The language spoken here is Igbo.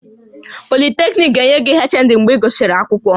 Polytechnic ga-enye gị HND mgbe ị gụsịrị akwụkwọ